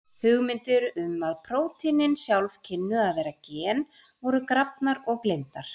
Hugmyndir um að prótínin sjálf kynnu að vera gen voru grafnar og gleymdar.